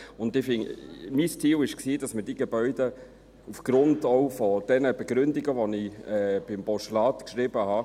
Mein Ziel war es, dass man diese Gebäude ausnützen könnte, auch aufgrund der Begründungen, die ich im Postulat habe.